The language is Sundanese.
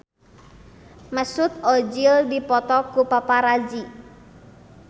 Mesut Ozil dipoto ku paparazi